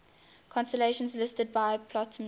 constellations listed by ptolemy